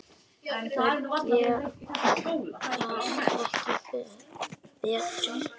Þær gerast ekki betri.